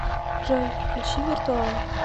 джой включи виртуал